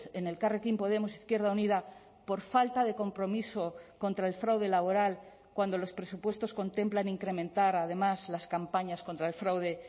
en elkarrekin podemos izquierda unida por falta de compromiso contra el fraude laboral cuando los presupuestos contemplan incrementar además las campañas contra el fraude